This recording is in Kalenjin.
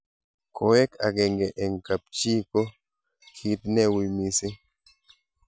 koek akenge eng kap chi ko kit ne ui